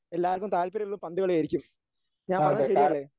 എല്ലാവർക്കും താല്പര്യം ഉള്ളതും പന്തുകളിയായിരിക്കും ഞാൻ പറഞ്ഞത് ശരിയല്ലേ?